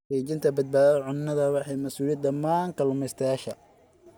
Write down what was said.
Xaqiijinta badbaadada cunnada waa mas'uuliyadda dhammaan kalumestayasha.